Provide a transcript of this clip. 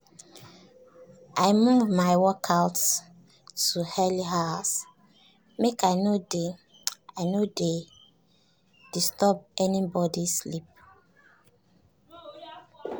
i move my workout to early hours make i no dey i no dey disturb anybody sleep.